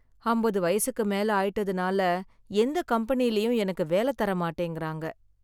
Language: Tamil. அம்பது வயசுக்கு மேல ஆயிட்டதுனால, எந்தக் கம்பெனிலயும் எனக்கு வேல தர மாட்டேங்குறாங்க.